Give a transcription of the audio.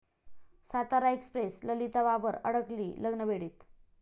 Satara express' Lalita Babar अडकली लग्नबेडीत